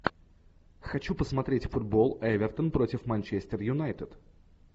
хочу посмотреть футбол эвертон против манчестер юнайтед